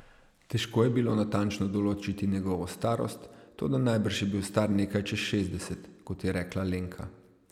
Težko je bilo natančno določiti njegovo starost, toda najbrž je bil star nekaj čez šestdeset, kot je rekla Lenka.